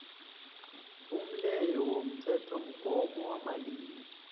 umleyo womthethomgomo wamalimi